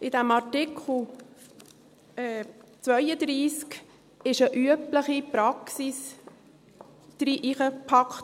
In diesen Artikel 32 wurde eine übliche Praxis hineingepackt.